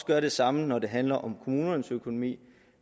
gør det samme når det handler om kommunernes økonomi